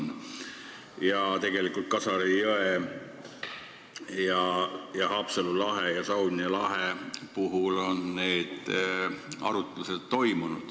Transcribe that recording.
Need arutlused on toimunud seoses Kasari jõega ning Haapsalu ja Saunja lahega.